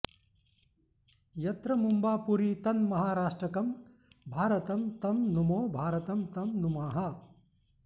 यत्र मुम्बापुरी तन्महाराष्ट्रकं भारतं तं नुमो भारतं तं नुमः